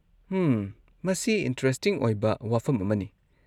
ꯍꯝ, ꯃꯁꯤ ꯏꯟꯇꯔꯦꯁꯇꯤꯡ ꯑꯣꯏꯕ ꯋꯥꯐꯝ ꯑꯃꯅꯤ꯫